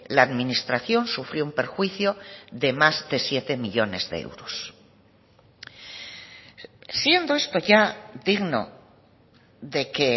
la administración sufrió un perjuicio de más de siete millónes de euros siendo esto ya digno de que